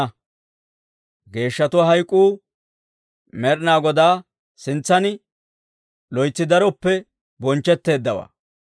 Geeshshatuwaa hayk'k'uu Med'inaa Godaa sintsan, loytsi daroppe bonchchetteeddawaa.